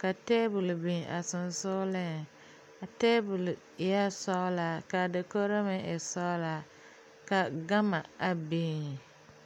ka tabol biŋ a sensogleŋ a tabol eɛ sɔglaa ka ka dakogro meŋ e sɔglaa ka gama a biŋ.